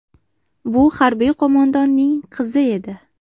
Bu harbiy qo‘mondonning qizi edi.